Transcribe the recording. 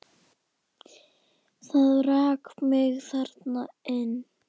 Það rak mig þarna inn.